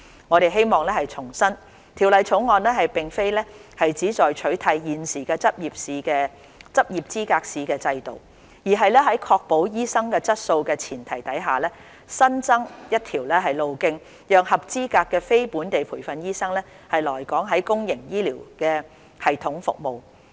我們希望重申，《條例草案》並非旨在取締現時執業資格試的制度，而是在確保醫生質素的前提下，新增一條路徑讓合資格的非本地培訓醫生來港在公營醫療系統服務。